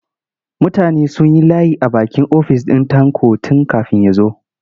Mutane sun yi layi a bakin ofis ɗin Tanko tun kafin ya zo.